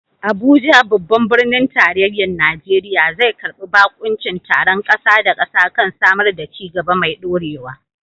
Abuja, babban birnin tarayyar Najeriya, zai karbi bakuncin taron kasa da kasa kan samar da ci gaba mai dorewa.